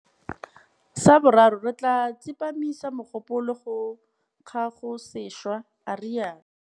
Sa boraro, re tla tsepamisa mogopolo go kagosešwa, a rialo.